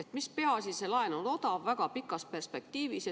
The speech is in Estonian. Ja mis peaasi, see laen on odav väga pikas perspektiivis.